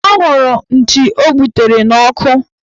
Ọ hụrụ nchi o gbutere n'ọkụ